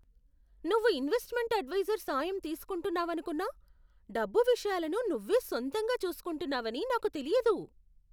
నువ్వు investment advisor సాయం తీసుకుంటున్నావనుకున్నా, డబ్బు విషయాలను నువ్వే సొంతంగా చూసుకుంటున్నావని నాకు తెలియదు.